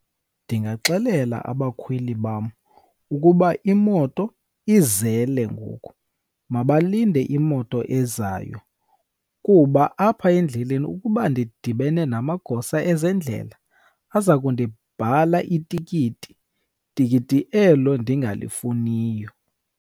Ndingaxelela abakhweli bam ukuba imoto izele ngoku, mabalinde imoto ezayo. Kuba apha endleleni ukuba ndidibene namagosa ezendlela aza kundibhala itikiti, tikiti elo ndingalifuniyo.